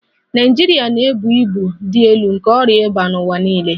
Naịjirịa na-ebu ibu dị elu nke ọrịa ịba n'ụwa niile